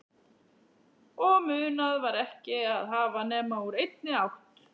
Og munað var ekki að hafa nema úr einni átt